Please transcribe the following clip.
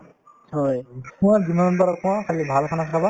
মই যিমান পাৰো কওঁ খালি ভাল khana খাবা